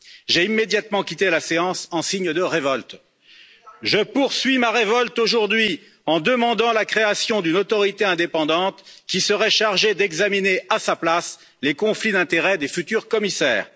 J'ai immédiatement quitté la séance en signe de révolte, je poursuis ma révolte aujourd'hui en demandant la création d'une autorité indépendante qui serait chargée d'examiner à sa place les conflits d'intérêts des futurs commissaires.